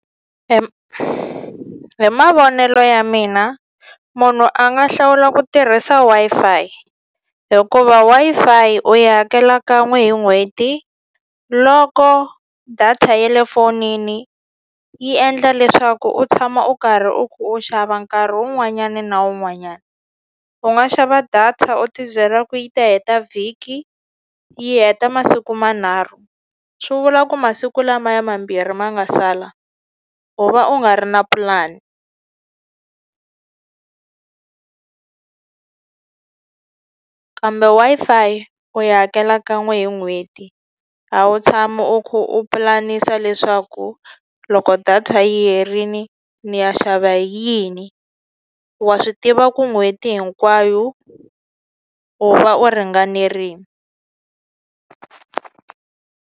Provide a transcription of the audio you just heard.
hi mavonelo ya mina munhu a nga hlawula ku tirhisa Wi-Fi hikuva Wi-Fi yi u yi hakela kan'we hi n'hweti loko data ya le fonini yi endla leswaku u tshama u karhi u u xava nkarhi wun'wanyani na un'wanyani u nga xava data u ti byela ku yi ta heta vhiki yi heta masiku manharhu swi vula ku masiku lamaya mambirhi ma nga sala u va u nga ri na pulani kambe Wi-Fi u yi hakela kan'we hi n'hweti a wu tshami u ku u pulanisa leswaku loko data yi herini ni ya xava hi yini wa swi tiva ku n'hweti hinkwayo u va u ringanerini.